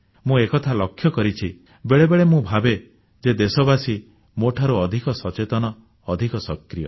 ମୁଁ ଏକଥା ଲକ୍ଷ୍ୟ କରିଛି ବେଳେବେଳେ ମୁଁ ଭାବେ ଯେ ଦେଶବାସୀ ମୋଠାରୁ ଅଧିକ ସଚେତନ ଅଧିକ ସକ୍ରିୟ